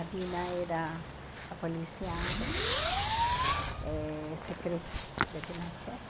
A Dina era a polícia eh secreta de Pinochet.